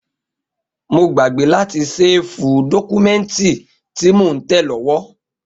Mo gbàgbé láti séèfù dọ́kúmẹ́ǹtì tí mo ń tẹ̀ lówó